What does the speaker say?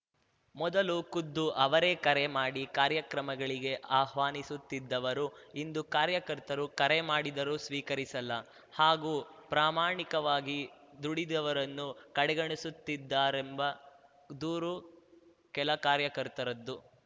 ಮೊದಲು ಖುದ್ದು ಅವರೆಕರೆ ಮಾಡಿ ಕಾರ್ಯಕ್ರಮಗಳಿಗೆ ಆಹ್ವಾನಿಸುತ್ತಿದವರು ಇಂದು ಕಾರ್ಯಕರ್ತರು ಕರೆ ಮಾಡಿದರೂ ಸ್ವೀಕರಿಸಲ್ಲ ಹಾಗೂ ಪ್ರಮಾಣಿಕವಾಗಿ ದುಡಿದವರನ್ನುಕಡೆಗಣಿಸುತ್ತಿದ್ದಾರೆಂಬ ದೂರು ಕೆಲ ಕಾರ್ಯಕರ್ತರದು